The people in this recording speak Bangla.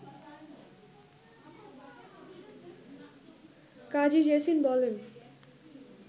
কাজী জেসিন বলেন